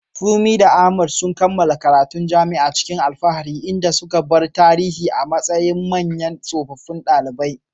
Funmi da Ahmad sun kammala karatun jami'a cikin alfahari, inda suka bar tarihi a matsayin manyan tsofaffin ɗalibai.